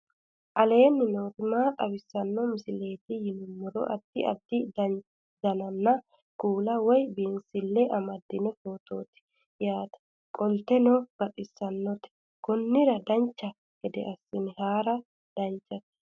aleenni nooti maa xawisanno misileeti yinummoro addi addi dananna kuula woy biinsille amaddino footooti yaate qoltenno baxissannote konnira dancha gede assine haara danchate